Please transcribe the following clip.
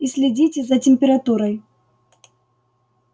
и следите за температурой